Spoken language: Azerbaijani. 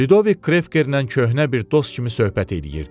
Lidovik Krekerlə köhnə bir dost kimi söhbət eləyirdi.